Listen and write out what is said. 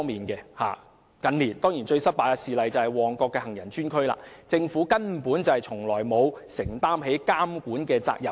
近年最失敗的事例，當然是旺角行人專用區，政府根本從沒有承擔監管責任。